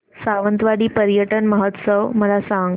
सावंतवाडी पर्यटन महोत्सव मला सांग